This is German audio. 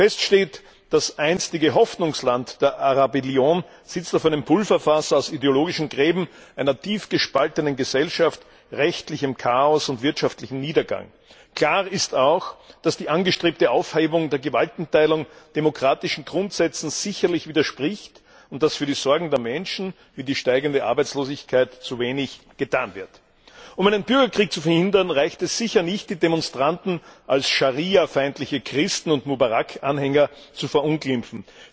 Fest steht, das einstige Hoffnungsland der Arabellion sitzt auf einem Pulverfass aus ideologischen Gräben, einer tief gespaltenen Gesellschaft, rechtlichem Chaos und wirtschaftlichem Niedergang. Klar ist auch, dass die angestrebte Aufhebung der Gewaltenteilung demokratischen Grundsätzen sicherlich widerspricht und dass für die Sorgen der Menschen, wie die steigende Arbeitslosigkeit, zu wenig getan wird. Um einen Bürgerkrieg zu verhindern, reicht es sicher nicht, die Demonstranten als schariafeindliche Christen und Mubarak Anhänger zu verunglimpfen.